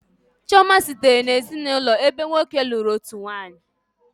Chioma sitere n'ezinụlọ ebe nwoke lụrụ otu nwanyị